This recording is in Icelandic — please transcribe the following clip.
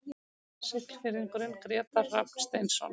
Siglfirðingurinn Grétar Rafn Steinsson